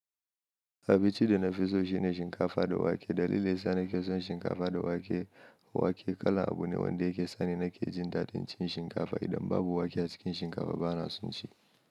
Abinci da na fi so shine shinkafa da wake. Dalili yasa na ke son shinkafa da wake, wake kala abu ne wanda yake sa ni na ke jin daɗin cin shinkafa. Idan babu wake a cikin shinkafa ba na son ci.